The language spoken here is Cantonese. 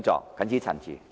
我謹此陳辭。